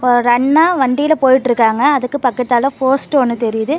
ஒரு அண்ணா வண்டியில போயிட்ருக்காங்க அதுக்கு பக்கத்தால போஸ்ட் ஒன்னு தெரியுது.